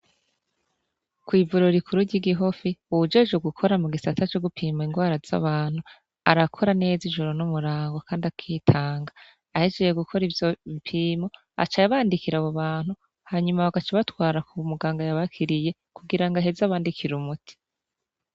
Kw'ivuriro rikuru ry'i Gihofi uwujejwe gukora mu gisata co gupima ingwara z'abantu arakora neza ijoro n'umurango kandi akitanga. Ahejeje gukora ivyo bipimo aca abandikira abantu hanyuma bagaca batwara ku muganga yabakiriye kugira ngo aheze abandikire umuti.